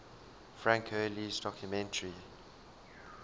frank hurley's documentary